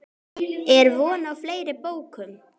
Er von á fleiri bókum?